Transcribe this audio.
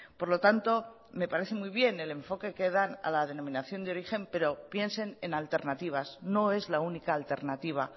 por lo tanto me parece muy bien el enfoque que dan a la denominación de origen pero piensen en alternativas no es la única alternativa